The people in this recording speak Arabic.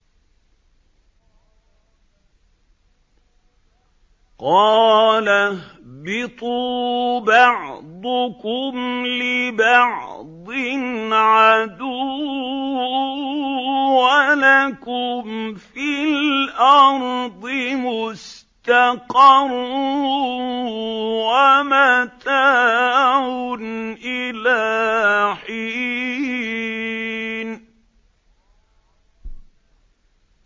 قَالَ اهْبِطُوا بَعْضُكُمْ لِبَعْضٍ عَدُوٌّ ۖ وَلَكُمْ فِي الْأَرْضِ مُسْتَقَرٌّ وَمَتَاعٌ إِلَىٰ حِينٍ